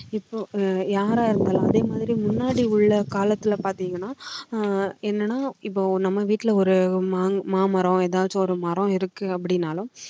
இப்ப அஹ் யாரா இருந்தாலும் அதே மாதிரி முன்னாடி உள்ள காலத்துல பாத்தீங்கன்னா அஹ் என்னன்னா இப்போ நம்ம வீட்ல ஒரு மாமரம் ஏதாவது ஒரு மரம் இருக்கு அப்படின்னாலும்